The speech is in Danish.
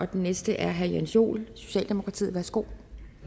den næste er herre jens joel socialdemokratiet værsgo